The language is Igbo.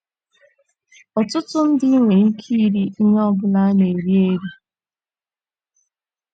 ỌTỤTỤ ndị nwere ike iri ihe ọ bụla a na - eri eri.